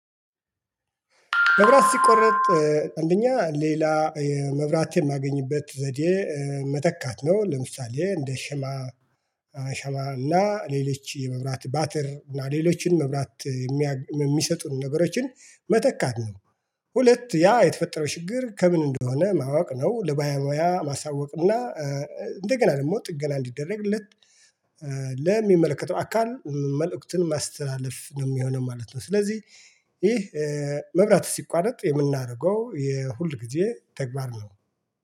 መብራት ሲቆረጥ፥ አንደኛ ሌላ የመብራት የማገኝበት ዘዴ መተካት ነው። ለምሳሌ እንደ ሸማ ሻማ እና ሌሎች የመብራት ባትሪ እና ሌሎችን መብራት የሚሰጡን ነገሮችን መተካት ነው። ሁለት፥ ያ የተፈጠረው ችግር ከምን እንደሆነ ማወቅ ነው። ለባለሞያ ማሳወቅ እና እንደገና ደግሞ ጥገና እንዲደረግለት ለሚመለከተው አካል መልእክቱን ማስተላለፍ ነው የሚሆነው ማለት ነው። ስለዚህ ይህ መብራት ሲቋረጥ የምናደርገው የሁል ጊዜ ተግባር ነው።